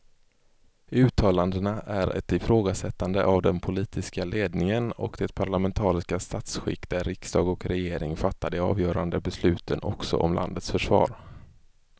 Uttalandena är ett ifrågasättande av den politiska ledningen och det parlamentariska statsskick där riksdag och regering fattar de avgörande besluten också om landets försvar.